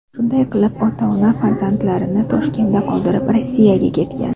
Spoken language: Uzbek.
Shunday qilib, ota-ona farzandlarini Toshkentda qoldirib, Rossiyaga ketgan.